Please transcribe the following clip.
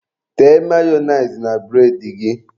Tee mayonise na bụredị gị.